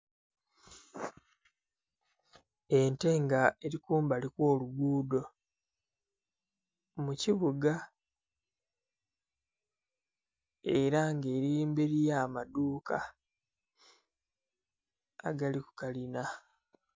Ente nga eri kumbali okw'olugudo mu kibuga era nga eri mberi y'amadhuuka agali ku kalina.